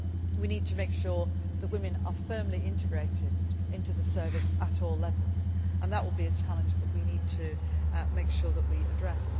We need to make sure that women are firmly integrated into the service at all levels. That is a challenge we need to make sure that we address.